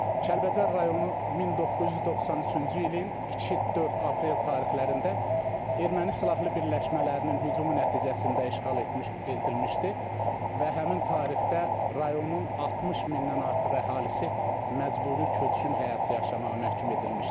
Kəlbəcər rayonu 1993-cü ilin 2-4 aprel tarixlərində Erməni silahlı birləşmələrinin hücumu nəticəsində işğal edilmişdi və həmin tarixdə rayonun 60 mindən artıq əhalisi məcburi köçkün həyatı yaşamağa məhkum edilmişdi.